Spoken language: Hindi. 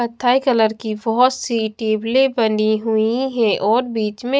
कत्थई कलर की बहोत सी टेबले बनी हुई है और बीच में--